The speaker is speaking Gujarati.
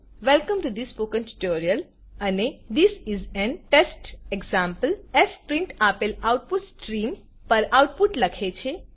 welcome to the spoken tutorial અને this is an test example fprintf આપેલ આઉટપુટ સ્ટ્રીમ પર આઉટપુટ લખે છે